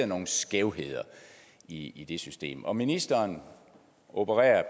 nogle skævheder i det system og ministeren opererer